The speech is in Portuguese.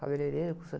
Cabeleireiro custa